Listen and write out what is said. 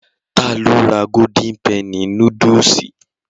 Ta ló ra golden penny núdúsì?